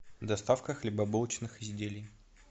доставка хлебобулочных изделий